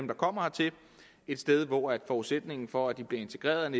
der kommer hertil et sted hvor forudsætningen for at de bliver integreret man